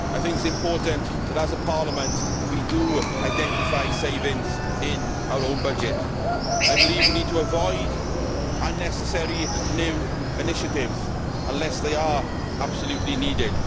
I think that it is important as a Parliament that we identify savings in our own budget. I believe we need to avoid unnecessary new initiatives unless they are absolutely needed.